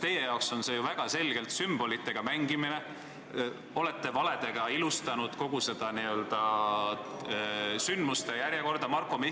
Teie jaoks on see ju väga selgelt sümbolitega mängimine, aga te olete valede abil kogu seda n-ö sündmuste järjekorda endale sobivaks ilustanud.